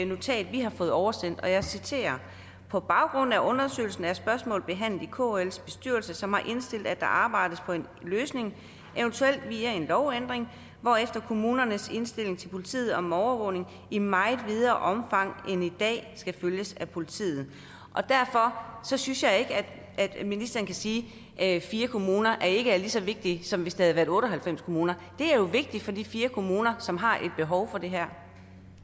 notat vi har fået oversendt og jeg citerer på baggrund af undersøgelsen af spørgsmål behandlet i kls bestyrelse som har indstillet at der arbejdes på en løsning eventuelt via en lovændring hvorefter kommunernes indstilling til politiet om overvågning i meget videre omfang end i dag skal følges af politiet derfor synes jeg ikke at ministeren bare kan sige at fire kommuner ikke er lige så vigtige som hvis det havde været otte og halvfems kommuner det er jo vigtigt for de fire kommuner som har et behov for det her